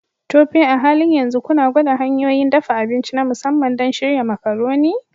Tope, a halin yanzu kuna gwada hanyoyin dafa abinci na musamman don shirya Macaroni?